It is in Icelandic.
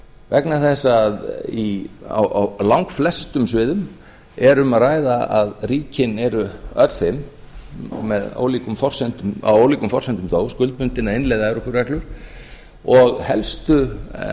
vegna þess að á langflestum sviðum er um að ræða að ríkin eru öll fimm að ólíkum forsendum þó skuldbundin að innleiða evrópureglur og helstu